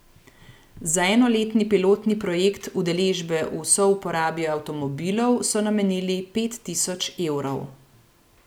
Za enoletni pilotni projekt udeležbe v souporabi avtomobilov so namenili pet tisoč evrov.